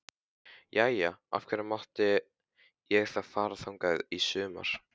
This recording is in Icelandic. Jæja, af hverju mátti ég þá fara þangað í sumar?